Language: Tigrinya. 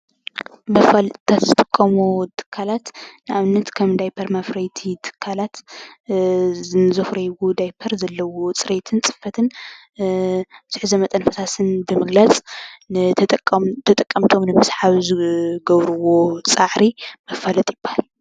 መፋሊጢታት ዝጥቀሙ ትካላት ንኣብነት ከም ዳይፐር መፍረይቲ ትካላት ንዘፍርዎ ዳይፐር ዘለዎ ፅሬትን ፅፈትን ዝሕዞ መጠን ፈሳስን ብምግላፅ ተጠቀምቶም ንምስሓብ ዝገብርዎ ፃዕሪ መፋለጢ ይባሃል።